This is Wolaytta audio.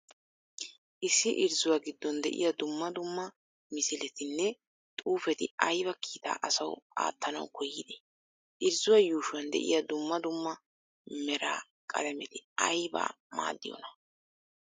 issi irzzuwa giddon de7iyaa duummaa duummaa misiletinne xuufeti ayba kiittaa asawu attanawu koyidde? irzzuwaa yuushuwan de7iya duummaa duummaa mera qaalameti aybaa maadiyonaa?